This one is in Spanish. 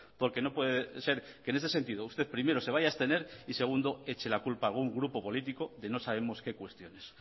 porque no puede ser que en ese sentido usted primero se vaya a abstener y segundo eche la culpa a algún grupo político de no sabemos qué cuestiones